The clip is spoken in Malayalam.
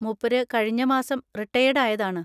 മൂപ്പര് കഴിഞ്ഞ മാസം റിട്ടയേർഡ് ആയതാണ്.